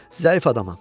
Zəif adamam.